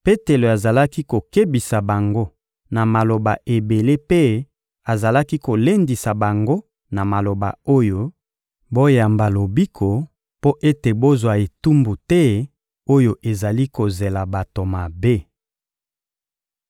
Petelo azalaki kokebisa bango na maloba ebele mpe azalaki kolendisa bango na maloba oyo: — Boyamba lobiko mpo ete bozwa etumbu te oyo ezali kozela bato mabe.